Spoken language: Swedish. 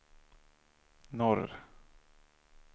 norr